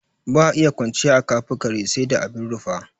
Ba iya kwanciya aka fi kare ba sai dai abin rufa.